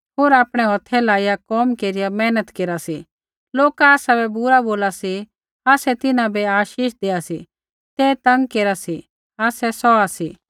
होर आपणै हौथा लाईया कोम केरिया मेहनत केरा सी लोका आसाबै बुरा बोला सी आसै तिन्हां बै आशीष देआ सी ते तंग केरा सी आसै सौहा सी